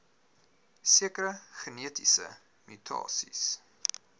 sekere genetiese mutasies